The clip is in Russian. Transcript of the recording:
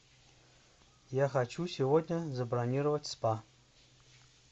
я хочу сегодня забронировать спа